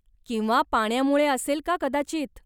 किंवा पाण्यामुळे असेल का कदाचित?